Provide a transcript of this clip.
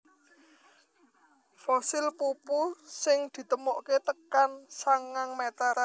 Fosil pupu sing ditemokaké tekan sangang meter